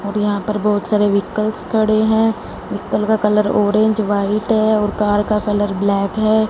और यहां पर बहुत सारे व्हीकलस खड़े है व्हीकल का कलर ऑरेंज व्हाइट है और कार का कलर ब्लैक है।